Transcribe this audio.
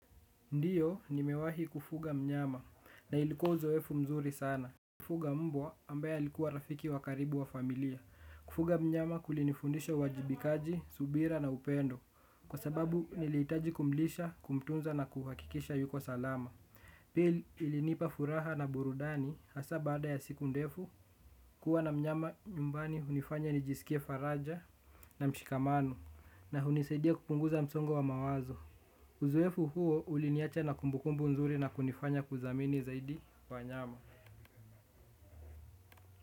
Ndiyo nimewahi kufuga mnyama na ilikuwa uzoefu mzuri sana. Kufuga mbwa ambaye alikuwa rafiki wa karibu wa familia. Kufuga mnyama kulinifundisha uwajibikaji, subira na upendo. Kwa sababu niliitaji kumlisha, kumtunza na kuhakikisha yuko salama. Pili ilinipa furaha na burudani hasa baada ya siku ndefu. Kuwa na mnyama nyumbani hunifanya nijisikie faraja na mshikamano. Na hunisaidia kupunguza msongo wa mawazo. Uzoefu huo uliniacha na kumbukumbu nzuri na kunifanya kudhamini zaidi kwa wanyama.